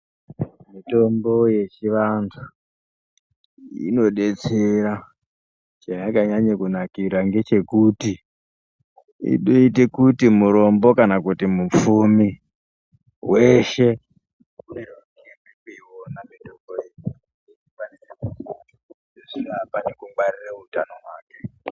Mitombo yechivantu inodetsera chayakanyanye kunakira ndechekuti inoite kuti murombo kana mupfumi weshe unosise kunoiona mitombo iyi kuti akone kungwarire utano hwake.